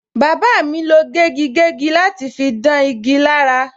Bàbá mi lo gégigégi láti fi dán igi lára.